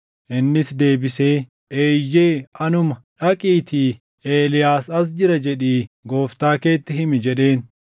Innis deebisee, “Eeyyee, anuma. Dhaqiitii, ‘Eeliyaas as jira’ jedhii gooftaa keetti himi” jedheen.